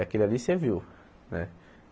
Aquele ali você viu, né?